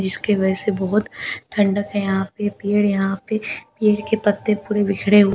जिसके वजह से बहुत ठंडक है यहां पे पेड़ है यहां पे पेड़ के पत्‍ते पूरे बिखरे हुए --